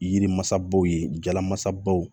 Yiri masaw ye jalamasabaw ye